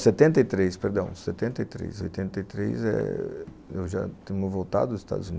Setenta e três, perdão. Setenta e três, oitenta e três eh...eu já tinha voltado dos Estados Unidos.